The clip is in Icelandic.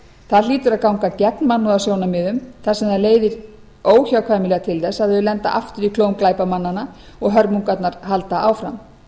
það hlýtur að ganga gegn mannúðarsjónarmiðum þar sem það leiðir óhjákvæmilega til þess að þau lenda aftur í klóm glæpamannanna og hörmungarnar halda áfram